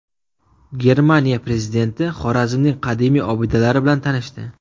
Germaniya prezidenti Xorazmning qadimiy obidalari bilan tanishdi .